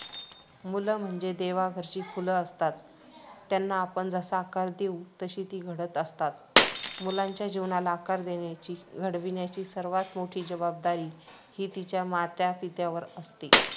मुलं म्हणजे देवाघरची फुलं असतात. त्यांना आपण जसा आकार देऊ तशी ती घडत असतात. मुलांच्या जीवनाला आकार देण्याची, घडविण्याची सर्वांत मोठी जबाबदारी ही त्याच्या मातापित्यांवर असते.